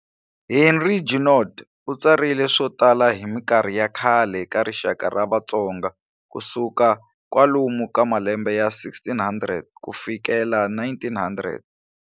Henri Junod u tsarile swo tala hi minkarhi ya khale ka rixaka ra Vatsonga ku suka kwalamu ka malembe ya 1600 ku fikela 1900.